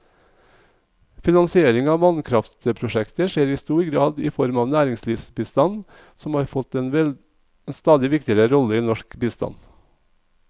Finansiering av vannkraftprosjekter skjer i stor grad i form av næringslivsbistand, som har fått en stadig viktigere rolle i norsk bistand.